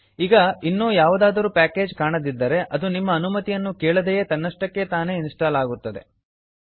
ಈಗ ಇನ್ನೂ ಯಾವುದಾದರೂ ಪ್ಯಾಕೇಜ್ ಕಾಣದಿದ್ದರೆ ಅದು ನಿಮ್ಮ ಅನುಮತಿಯನ್ನು ಕೇಳದೆಯೆ ತನ್ನಷ್ಟಕ್ಕೆ ತಾನೆ ಇನ್ಸ್ಟಾಲ್ ಆಗುತ್ತದೆ